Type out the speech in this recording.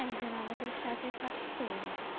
একজন আমাদের সাথে থাকতো যে?